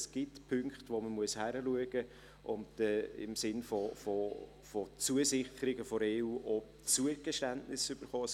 Es gibt Punkte, die man im Auge behalten und zu denen man im Sinne von Zusicherungen der EU auch Zugeständnisse erhalten muss.